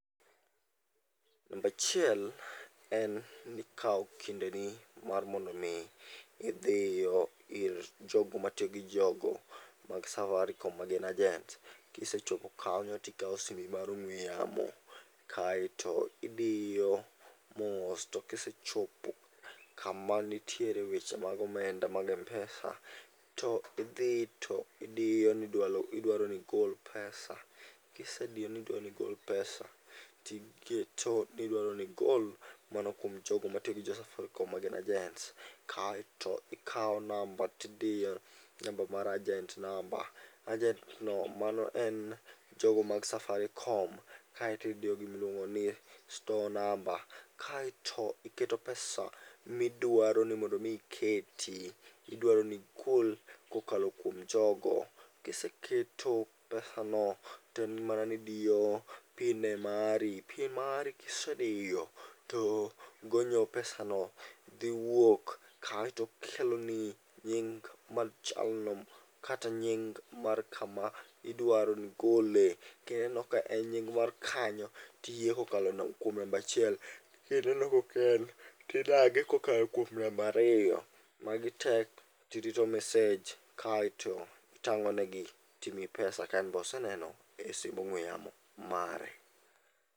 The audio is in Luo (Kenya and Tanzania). Nambachiel en ni kawo kindeni mar mondo mi idhiyo ir jogo matiyo gi jogo mag Safaricom magin ajent. Kisechopo kanyo tikawo simbi mar ong'we yamo, kaeto idiyo mos to kisechopo kama nitiere weche mag omenda mag M-pesa. To idhi to idiyo ni idwaro nigol pesa. Kisediyo nidwaro nigol pesa, tiketo nidwaro nigol mana kuom jogo matiyo gi jo Safaricom ma gin ajents. Kaeto ikawo namba tidiyo namba mar ajent namba. Ajent to mano en jogo mag Safaricom, kaeto idiyo gimiluongo ni store number, kaeto iketo pesa midwaro ni mondo mi iketi. Idwaro ni igol kokalo kuom jogo, kiseketo pesa no, to en mana ni idiyo pin ne mari. Pin mari kisediyo to gonyo pesa no dhi wuok, kaeto keloni nying mar jalno kata nying mar kama idwaro ni igole. Kineno ka en nying mar kanyo, tiyie kokalo kuom nambachiel. Kineno kok en tidagi kokalo kuom nambariyo. Magi te tirito message, kaeto itang'o negi timiyi pesa ka en be oseneno e simb ong'we yamo mare.